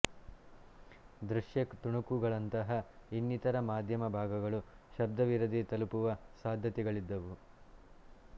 ದೃಶ್ಯ ತುಣುಕುಗಳಂತಹ ಇನ್ನಿತರ ಮಾಧ್ಯಮ ಭಾಗಗಳು ಶಬ್ದವಿರದೇ ತಲುಪುವ ಸಾಧ್ಯತೆಗಳಿದ್ದವು